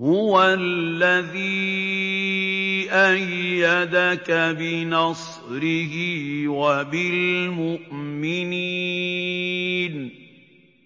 هُوَ الَّذِي أَيَّدَكَ بِنَصْرِهِ وَبِالْمُؤْمِنِينَ